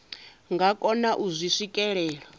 nga kona u zwi swikelela